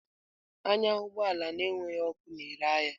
Anya ụgbọ ala na-enweghị ọkụ na-ere ahịa!